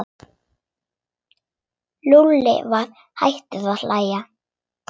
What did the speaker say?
Lúlli var hættur að hlæja.